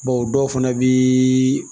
Bawo dɔw fana bii